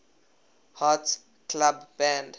hearts club band